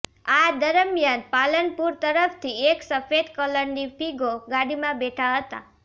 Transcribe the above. આ દરમિયાન પાલનપુર તરફથી એક સફેદ કલરની ફિગો ગાડીમાં બેઠા હતા